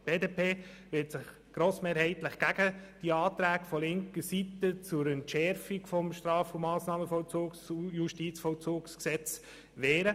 Die BDP wird sich grossmehrheitlich gegen die Anträge von linker Seite zur Entschärfung des Straf- und Massnahmenvollzugs- und Justizvollzugsgesetzes wehren.